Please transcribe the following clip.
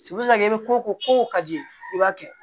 i bɛ ko ko ko ko ka ji i b'a kɛ